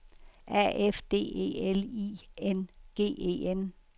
A F D E L I N G E N